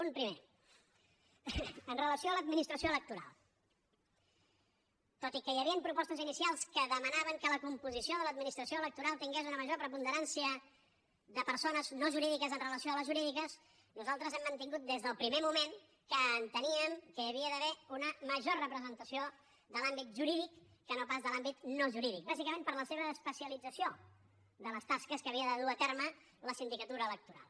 un primer amb relació a l’administració electoral tot i que hi havien propostes inicials que demanaven que la composició de l’administració electoral tingués una major preponderància de persones no jurídiques amb relació a les jurídiques nosaltres hem mantingut des del primer moment que enteníem que hi havia d’haver una major representació de l’àmbit jurídic que no pas de l’àmbit no jurídic bàsicament per la seva especialització de les tasques que havia de dur a terme la sindicatura electoral